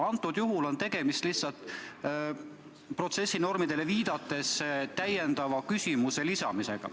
Antud juhul on tegemist lihtsalt protsessinormidele viidates täiendava küsimuse esitamisega.